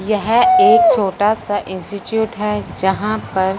यह एक छोटा सा इंस्टीट्यूट है जहां पर--